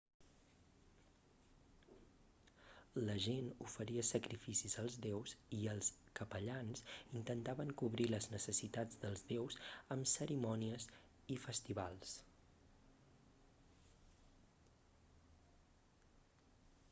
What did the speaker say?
la gent oferia sacrificis als déus i els capellans intentaven cobrir les necessitats dels déus amb cerimònies i festivals